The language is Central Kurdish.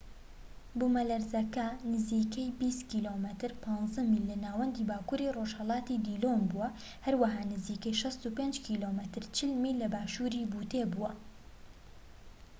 بوومەلەرزەکە نزیکەی 20 کم 15 میل لە ناوەندی باکوری ڕۆژهەڵاتی دیلۆن بووە، هەروەها نزیکەی 65 کم 40 میل لە باشوری بوتێ بووە